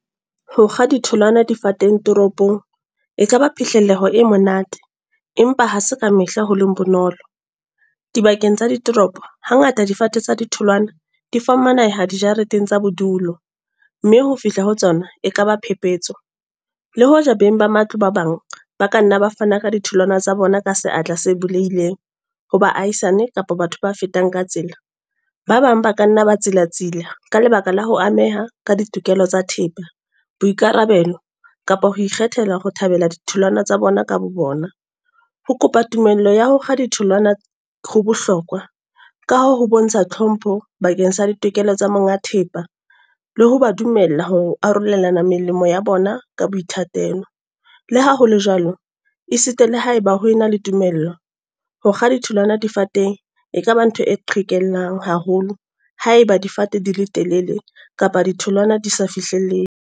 Hokga ditholwana difateng toropong. E kaba phihleleho e monate. Empa ha se ka mehla ho leng bonolo. Dibakeng tsa ditoropo. Hangata difate tsa ditholwana di fumaneha di jareteng tsa bodulo. Mme ho fihla ho tsona, e kaba phephetso. Le hoja beng ba matlo ba bang, ba ka nna ba fana ka ditholwana tsa bona ka seatla se bulehileng, ho ba ahisane kapa batho ba fetang ka tsela. Ba bang ba ka nna ba tsilatsila. Ka lebaka la ho ameha ka ditokelo tsa thepa, boikarabelo kapa ho ikgethela ho thabela ditholwana tsa bona ka bo bona. Ho kopa tumello ya ho kga ditholwana, ho bohlokwa ka ho ho bontsha hlompho bakeng sa ditokelo tsa monga thepa. Le ho ba dumella ho arolelana melemo ya bona ka boithatelo. Le ha hole jwalo, e sita le haeba ho ena le tumello. Hokga ditholwana difateng, e kaba ntho e qhekellang haholo ha eba difate di le telele, kapa ditholwana di sa fihlellehe.